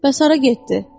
Bəs hara getdi?